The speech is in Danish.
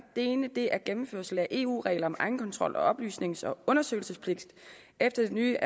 det ene er en gennemførsel af eu regler om egenkontrol og oplysnings og undersøgelsespligt efter det nye